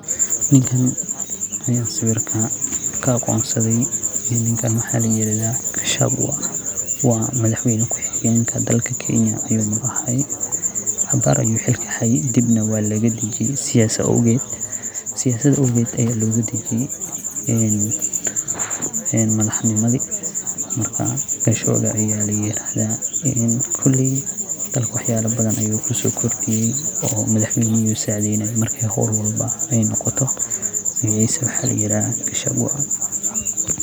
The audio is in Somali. Ninkaan aan sawirka ka aqoonsaday, ninkaan waxaa la yiraahdaa Gachagua. Madaxwayne ku xigeenka dalka ayuu mar ahaa. Abaar ayuu xilka hayay, dibna waa laga dajiyay siyaasad awgeed. Siyaasad awgeed ayaa looga dajiyay madaxnimadii. Gachagua ayaa la yiraahdaa, dalka waxyaalo badan ayuu ku soo kordhiyay, in madaxwaynaha uu u sacidinayo marka hawl walbo ay noqoto.